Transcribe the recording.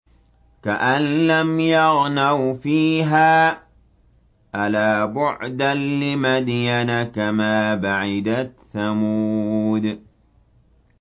كَأَن لَّمْ يَغْنَوْا فِيهَا ۗ أَلَا بُعْدًا لِّمَدْيَنَ كَمَا بَعِدَتْ ثَمُودُ